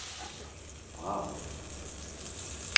Brarup